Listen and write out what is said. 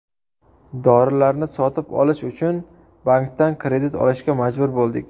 Dorilarni sotib olish uchun bankdan kredit olishga majbur bo‘ldik.